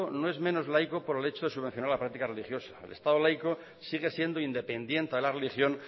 no es menos laico por el hecho de subvencionar la práctica religiosa el estado laico sigue siendo independiente a la religión